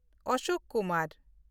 Ashok Kumar